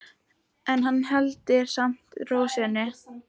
En hann heldur samt ró sinni.